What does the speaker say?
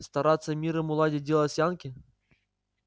стараться миром уладить дело с янки